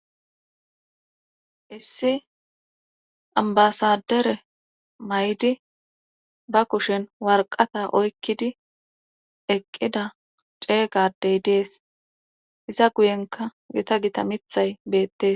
Issi ambasadere maydi ba kushen warqata oykkidi eqqida ceeygadey dees iza guyenka gita gita mithay beette.